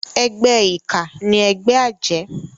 Ègbè iká ni ègbè àjë